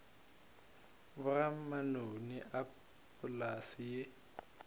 boga manoni a polase ye